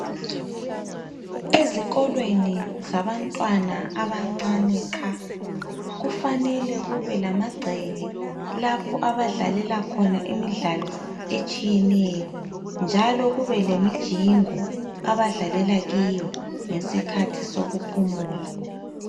Ezikolweni zabantwana abancane qha kufanele kube lamagceke lapho abadlalela khona imidlalo etshiyeneyo njalo kube lemijingo abadlalela kiyo ngesikhathi sokuphumula